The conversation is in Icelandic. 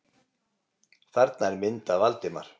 Þarna er mynd af Valdimar.